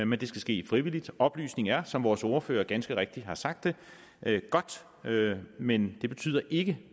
men det skal ske frivilligt oplysning er som vores ordfører ganske rigtigt har sagt godt men det betyder ikke